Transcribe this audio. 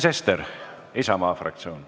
Sven Sester, Isamaa fraktsioon.